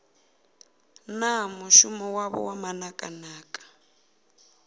na mushumo wavho wa manakanaka